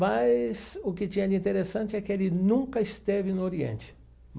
Mas o que tinha de interessante é que ele nunca esteve no Oriente.